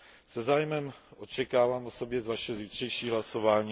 Se zájmem očekávám osobně vaše zítřejší hlasování.